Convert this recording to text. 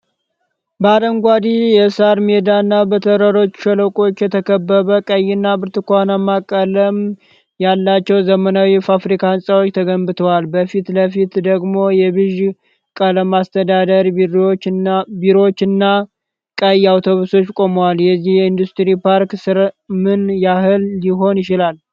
በአረንጓዴ የሳር ሜዳ እና በተራሮች ሸለቆ የተከበበ፣ ቀይና ብርቱካናማ ቀለም ያላቸው ዘመናዊ የፋብሪካ ህንፃዎች ተገንብተዋል። በፊት ለፊት ደግሞ የቢዥ ቀለም አስተዳደር ቢሮዎች እና ቀይ አውቶብስ ቆሟል። የዚህ የኢንዱስትሪ ፓርክ ስራ ምን ያህል ሊሆን ይችላል?